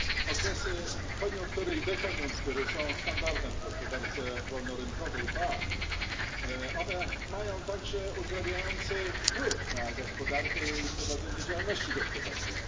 Okresy koniunktury i dekoniunktury są standardem w gospodarce wolnorynkowej, ba, one mają także uzdrawiający wpływ na gospodarkę i prowadzenie działalności gospodarczej.